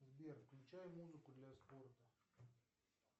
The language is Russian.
сбер включай музыку для спорта